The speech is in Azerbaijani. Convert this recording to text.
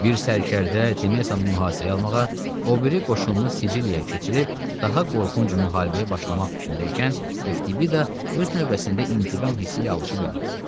Bir sərdə Temesanı mühasirəyə almağa, o biri qoşunu Siciliyaya keçirib daha qorxunc müharibəyə başlamaq fikrində ikən, Ftibi də öz növbəsində intiqam hissi ilə alışıb yanırdı.